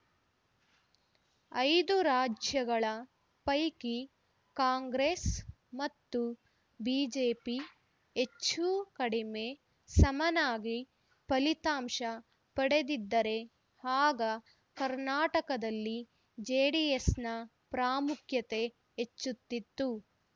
ಐದು ರಾಜ್ಯಗಳ ಪೈಕಿ ಕಾಂಗ್ರೆಸ್‌ ಮತ್ತು ಬಿಜೆಪಿ ಹೆಚ್ಚೂ ಕಡಮೆ ಸಮನಾಗಿ ಫಲಿತಾಂಶ ಪಡೆದಿದ್ದರೆ ಆಗ ಕರ್ನಾಟಕದಲ್ಲಿ ಜೆಡಿಎಸ್‌ನ ಪ್ರಾಮುಖ್ಯತೆ ಹೆಚ್ಚುತ್ತಿತ್ತು